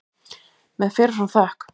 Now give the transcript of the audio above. Með fyrir fram þökk.